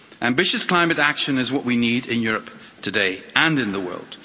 Ambitious climate action is what we need in Europe today and in the world.